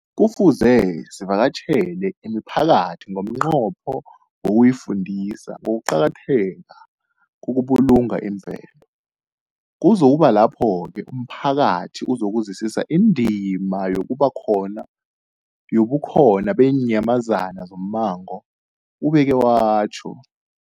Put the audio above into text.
Kufuze sivakatjhele imiphakathi ngomnqopho wokuyifundisa ngokuqakatheka kokubulunga imvelo. Kuzoku ba kulapho-ke umphakathi uzokuzwisisa indima yobukhona beenyamazana zommango, ubeke watjho.